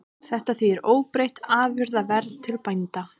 Þetta þýðir óbreytt afurðaverð til bænda